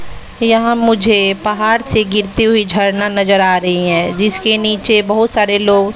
यहां मुझे पहाड़ से गिरती हुई झरना नजर आ रही हैं जिसके नीचे बहुत सारे लोग--